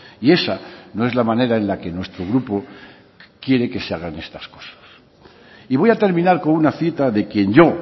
y esa no es la manera en la que nuestro grupo quiere que se hagan estas cosas y voy a terminar con una cita de quien yo